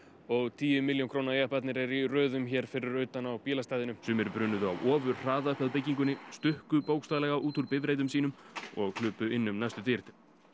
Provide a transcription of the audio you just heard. og tíu milljón króna jepparnir eru í röðum hér fyrir utan á bílastæðinu sumir brunuðu á ofurhraða upp að byggingunni stukku bókstaflega út úr bifreiðum sínum og hlupu inn um næstu dyr